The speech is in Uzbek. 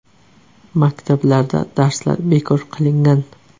Maktablarda darslar bekor qilingan.